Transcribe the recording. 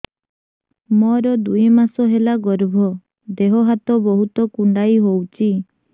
ମୋର ଦୁଇ ମାସ ହେଲା ଗର୍ଭ ଦେହ ହାତ ବହୁତ କୁଣ୍ଡାଇ ହଉଚି